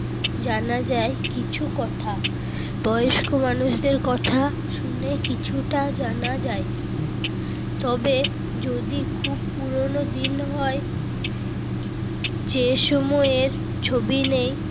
জানা যায় কিছু কথা। বয়স্ক মানুষদের কথা শুনে কিছুটা জানা যায়। তবে যদি খুব পুরোনো দিন হয় যে সময়ের ছবি নেই,